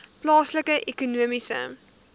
plaaslike ekonomiese